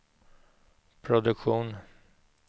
produktionen